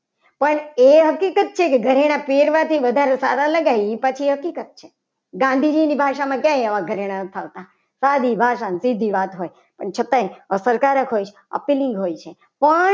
પણ એ હકીકત છે. કે ઘરેણા પહેરવાથી વધારે સારા લગાય એ પાછી હકીકત છે. ગાંધીજીની ભાષામાં આવા કઈ ઘરેણા નથી. આવતા સાદી ભાષામાં સીધી વાત હોય પણ છતાંય અસરકારક હોય છે. આપેલી હોય છે.